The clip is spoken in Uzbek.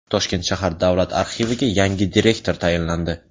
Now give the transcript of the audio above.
Toshkent shahar davlat arxiviga yangi direktor tayinlandi.